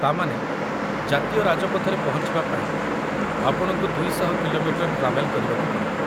ତା' ମାନେ ଜାତୀୟ ରାଜପଥରେ ପହଞ୍ଚିବା ପାଇଁ ଆପଣଙ୍କୁ ୨୦୦ କି.ମି. ଟ୍ରାଭେଲ୍‌ କରିବାକୁ ପଡ଼ିବ ।